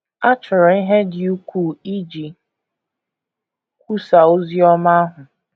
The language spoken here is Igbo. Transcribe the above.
A chọrọ ihe dị ukwuu iji kwusaa ozi ọma ahụ.